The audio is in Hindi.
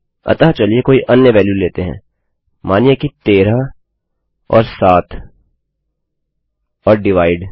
अतः चलिए कोई अन्य वेल्यू लेते हैं मानिए कि 13 और 7 और divideभाग